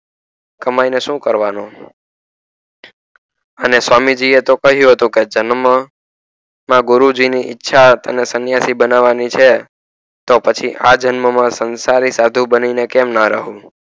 કમાય ને સુ કરવાનો અને સ્વામી જીયે તો કહીંયુ હતું કે જન્મ ગુરુજી ની ઈચ્છા તને સન્યાસી બનાવની છે તો પછી આ જન્મ માં સંસારી સાધુ બની ને કેમ ના રાહુ